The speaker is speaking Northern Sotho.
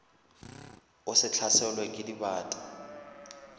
o se hlaselwe ke dibata